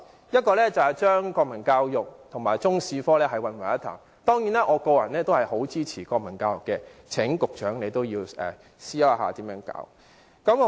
其一是將國民教育和中史科混為一談，當然，我個人非常支持推行國民教育，亦請局長思考應如何進行。